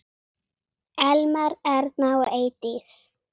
Elmar, Erna og Eydís.